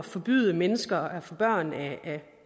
forbyde mennesker at få børn